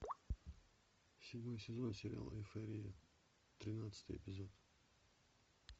седьмой сезон сериала эйфория тринадцатый эпизод